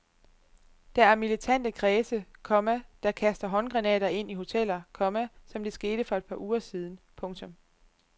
Der er militante kredse, komma der kaster håndgranater ind i hoteller, komma som det skete for et par uger siden. punktum